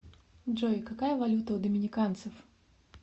джой какая валюта у доминиканцев